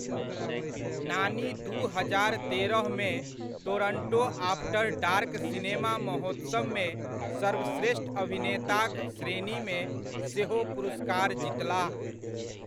नानी दू हजार तेरहमे टोरण्टो आफ्टर डार्क सिनेमा महोत्सवमे सर्वश्रेष्ठ अभिनेताक श्रेणीमे सेहो पुरस्कार जीतलाह।